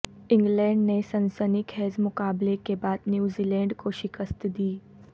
England نے سنسنی خیزمقابلے کے بعدنیوزی لینڈ کوشکست دیدی